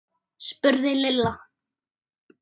spurði Lilla.